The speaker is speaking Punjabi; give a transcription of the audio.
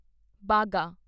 ਬਾਗਾ